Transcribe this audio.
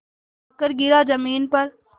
आकर गिरा ज़मीन पर